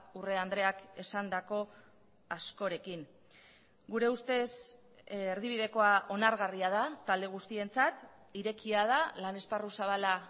urrea andreak esandako askorekin gure ustez erdibidekoa onargarria da talde guztientzat irekia da lan esparru zabala